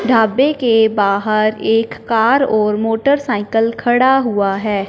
ढाबे के बाहर एक कार और मोटरसाइकिल खड़ा हुआ है।